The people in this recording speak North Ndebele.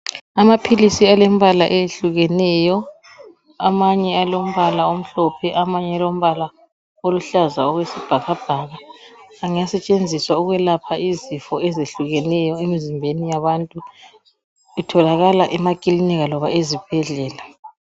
Amaphilisi alembala eyehlukeneyo. Amanye alombala omhlophe, amanye alombala oluhlaza okwesibhakabhaka, angasetshenziswa ukwelapha izifo ezihlukeneyo emizimbeni yabantu. Itholakala emakilinika loba ezibhedlela.